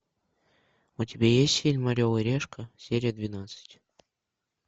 у тебя есть фильм орел и решка серия двенадцать